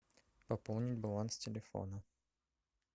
пополнить баланс телефона